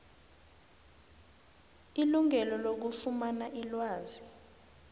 ilungelo lokufumana ilwazi